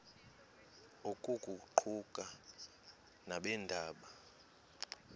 oku kuquka nabeendaba